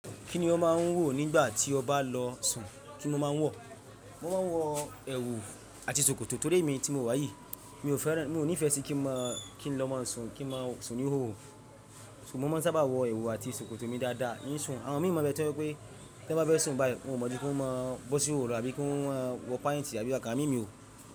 Kí ni wọ́n máa ń wò nígbà tí ọ bá lọ sùn? Kí ni wọ́n máa ń wọ̀? Wọ́n máa ń wọ èwù àti ṣòkòtò torí èmi tí mo wà yìí mi ò fẹ́ràn, mi ò ní ìfẹ́ sí kí n máa kí n lọ máa sùn kí n máa sùn ní hòhò ṣùgbọ́n mo máa ń sábà wọ èwù àti ṣòkòtò mi dáadáa n si Àwọn mìíràn bẹ́ẹ̀ tó wípé tí wọ́n bá fẹ́ sùn báyìí wọ́n ò mọ̀ bí wọ́n máa ń bọ́ sí hòhò àbí kí wọ́n wọ páíǹtì àbí àwọn ǹkan mí.